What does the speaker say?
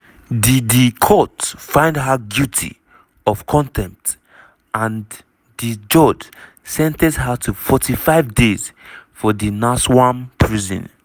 di di court find her guilty of contempt and di judge sen ten ce her to 45 days for di nsawam prison.